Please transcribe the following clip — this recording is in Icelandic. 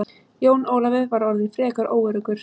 Jón Ólafur var orðinn frekar óöruggur.